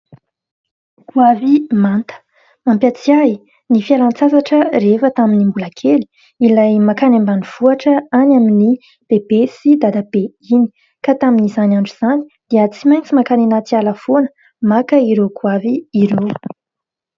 Goavy manta, mampahatsiahy ahy ny fialan-tsasatra rehefa tamin'ny mbola kely. Ilay mankany ambanivohitra, any amin'i bebe sy dadabe iny, ka tamin'izany andro izany dia tsy maintsy mankany anaty ala foana maka ireo goavy ireo.